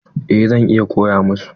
Eh zan iya koya masu.